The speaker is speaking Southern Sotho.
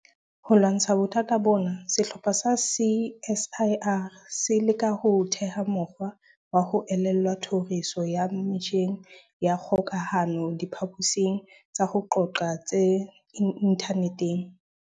Ho lwantsha bothata bona, sehlopha sa CSIR se leka ho theha mokgwa wa ho elellwa tlhoriso ya metjheng ya kgokahano diphaposing tsa ho qoqa tse inthaneteng.